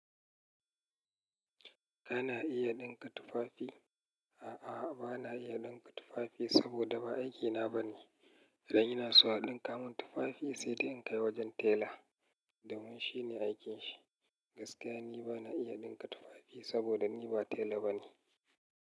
Kana iya ɗinka tufafi? A'a, bana iya ɗinka tufafi saboda ba aikina bane. Idan ina so a ɗinka mun tufafi sai dai in kai wajen tela domin shine aikin shi. Gaskiya ni bana iya ɗinka tufafi saboda ni ba tela bane.